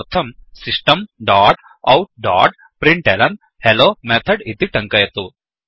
तदर्थं system dot out dot println hello method इति टङ्कयतु